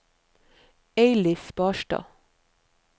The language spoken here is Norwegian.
Eilif Barstad